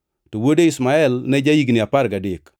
to wuode Ishmael ne ja-higni apar gadek.